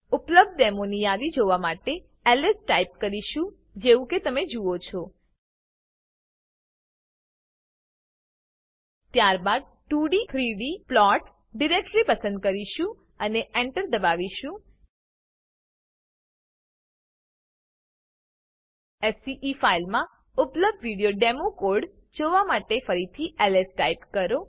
ઉપલબ્ધ ડેમોની યાદી જોવા માટે આપણે એલએસ ટાઈપ કરીશું જેવું કે તમે અહીં જુઓ છો ત્યારબાદ આપણે 2d 3d plots ડીરેક્ટરી પસંદ કરીશું અને enter દબાવીશું સ્કે ફાઈલમાં ઉપલબ્ધ વિવિધ ડેમો કોડ જોવા માટે ફરીથી એલએસ ટાઈપ કરો